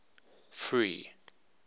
free